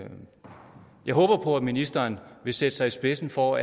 ministeren vil sætte sig i spidsen for